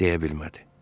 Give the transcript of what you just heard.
Deyə bilmədi.